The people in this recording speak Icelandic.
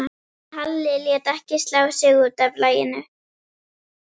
En Halli lét ekki slá sig út af laginu.